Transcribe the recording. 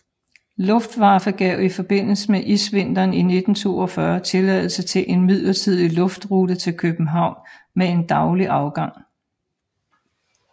Luftwaffe gav i forbindelse isvinteren i 1942 tilladelse til en midlertidig luftrute til København med en daglig afgang